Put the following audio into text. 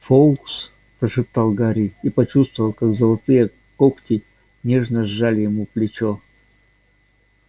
фоукс прошептал гарри и почувствовал как золотые когти нежно сжали ему плечо